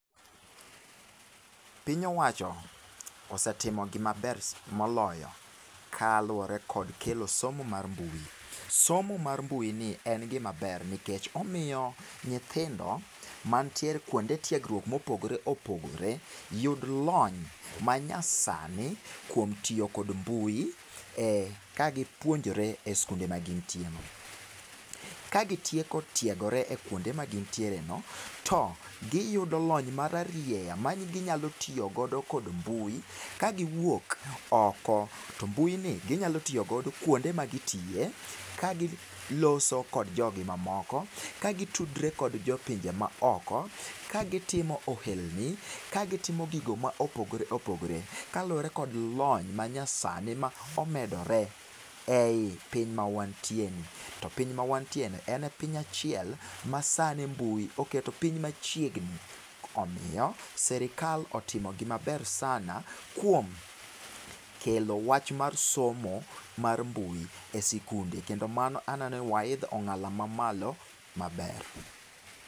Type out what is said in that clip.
Piny owacho osetimo gimaber sa moloyo kaluwore kod kelo somo mar mbui. Somo mar mbuini en gima ber nikech omiyo nyithindo mantiere kuonde tiegruok mopogore opogore, yud lony manyasani kuom tiyo kod mbui e kagipuonjre e sikunde magintie. Kagitieko tiegore e kuonde magin tiereno, to giyudo lony mararieya maginyalo tiyo godo kod mbui. Kagiwuok oko to mbuini ginyalo tiyo godo kuonde ma gitiye, kagiloso kod jogi mamoko, kagitudre kod jopinje maoko, kagitimo ohelni ka gitimo gigo mopogore opogore kaluwore kod lony manyasani ma omedore ei piny mawantieni. To piny mawantieni en e piny achiel masani mbui oketo piny machiegni. Omiyo sirkal otimo gimaber sana kuom kelo wach mar somo mar mbui e sikunde. Kendo mano aneno ni waidho ong'ala mamalo maber.